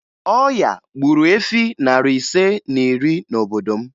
Ọya gburu efi narị ise na iri n'obodo m